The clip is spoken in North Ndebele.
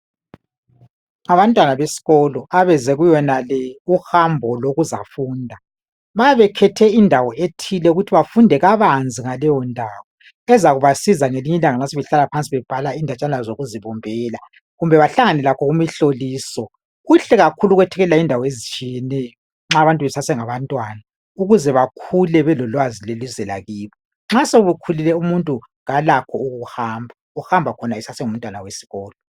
Abantwana besikolo abeze kuyo yonale uhambo lokuzafunda. Ma bekhethe indawo ethile ukuthi bafunde kabanzi ngaleyo ndawo ezakubasiza nxa sebebhala indaba yokuzibumbela kumbe bahlangane lakho kumihloliso. Kuhle kakhulu ukwethekelela izindawo ezitshiyeneyo nxa abantu besesengabantwana ukuze bakhule belolwazi lwelizwe lakibo. Nxa sekhulile umuntu kalakho ukuhamba, uhamba khona esasengumntwana wesikolo.